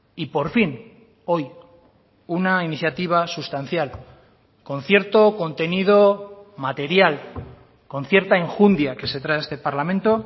y por fin hoy una iniciativa sustancial con cierto contenido material con cierta enjundia que se trae a este parlamento